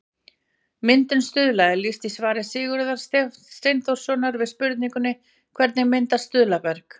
Myndun stuðla er lýst í svari Sigurðar Steinþórssonar við spurningunni Hvernig myndast stuðlaberg?